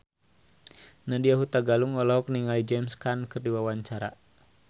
Nadya Hutagalung olohok ningali James Caan keur diwawancara